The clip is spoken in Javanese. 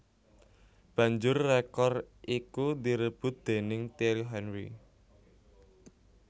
Banjur rekor iku direbut déning Thierry Henry